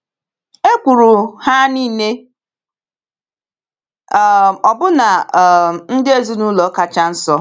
Ekwuru ha niile, um ọbụna um ndị ezinụlọ kacha nso.